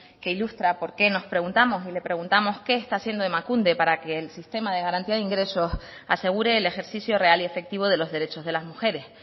que ilustra por qué nos preguntamos y le preguntamos qué está haciendo emakunde para que el sistema de garantía de ingresos asegure el ejercicio real y efectivo de los derechos de las mujeres